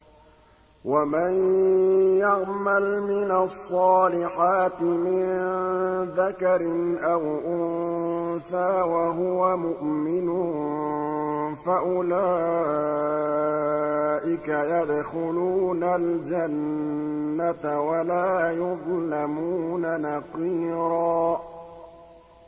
وَمَن يَعْمَلْ مِنَ الصَّالِحَاتِ مِن ذَكَرٍ أَوْ أُنثَىٰ وَهُوَ مُؤْمِنٌ فَأُولَٰئِكَ يَدْخُلُونَ الْجَنَّةَ وَلَا يُظْلَمُونَ نَقِيرًا